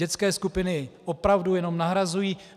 Dětské skupiny opravdu jenom nahrazují.